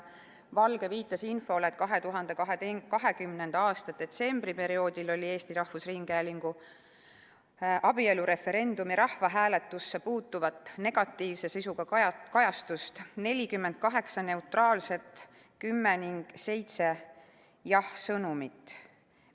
Valge viitas infole, et 2020. aasta detsembris oli Eesti Rahvusringhäälingus abielureferendumi rahvahääletusega seotud negatiivse sisuga kajastusi 48, neutraalseid 10 ning jah-sõnumeid 7.